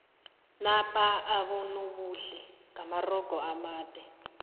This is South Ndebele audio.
napa abonobuhle ngamarogo amade